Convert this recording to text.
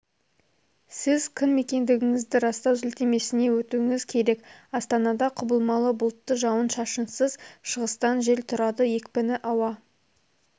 сіз кім екендігіңізді растау сілтемесіне өтуіңіз керек астанада құбылмалы бұлтты жауын-шашынсыз шығыстан жел тұрады екпіні ауа